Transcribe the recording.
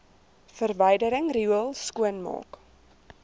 verwydering riool skoonmaak